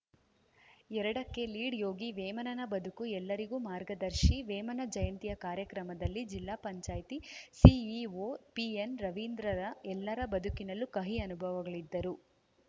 ಎರಡಕ್ಕೆಲೀಡ್‌ ಯೋಗಿ ಮೇಮನನ ಬದುಕು ಎಲ್ಲರಿಗೂ ಮಾರ್ಗದರ್ಶಿ ವೇಮನ ಜಯಂತಿಯ ಕಾರ್ಯಕ್ರಮದಲ್ಲಿ ಜಿಲ್ಲಾ ಪಂಚಾಯತ್ ಸಿಇಒ ಪಿಎನ್‌ ರವೀಂದ್ರರ ಎಲ್ಲರ ಬದುಕಿನಲ್ಲೂ ಕಹಿ ಅನುಭವಗಳಿದ್ದರೂ